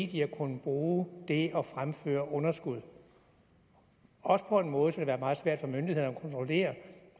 de har kunnet bruge det at fremføre underskud også på en måde så været meget svært for myndighederne at kontrollere